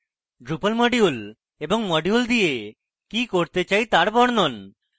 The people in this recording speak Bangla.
drupal module এবং module কে দিয়ে কি করতে চাই তার বর্ণন